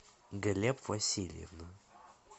глеб васильев